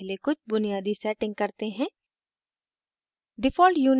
अब पहले कुछ बुनियादी सेटिंग करते हैं